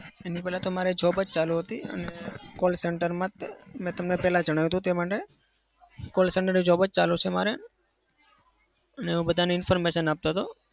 એની પહેલા તો તમારે job જ ચાલુ હતી. અને call center મા જ મેં તમને પહેલા જણાવ્યું હતું તે માટે call center ની job જ ચાલુ છે મારે અને હું બધાને information આપતો હતો.